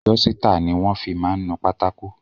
Dọ́sítà ni wọ́n fi máa ń nu pátákó.